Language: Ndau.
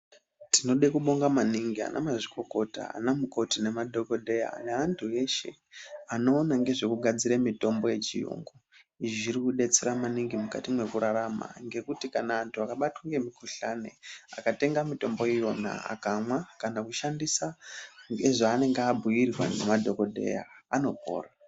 Tinode kubonga maningi anamazvikokota ana mukoti nemadhogodheya neantu eshe anoona ngezvekugadzire mitombo yechiyungu. Izvi zvirikubetsera maningi mukati mwekurarama ngekuti antu akabatwa ngemukuhlani akatenga mitombo iyona akanwa kana kushandisa ngezvaanenge abhuirwa ngemadhogodheya anopora.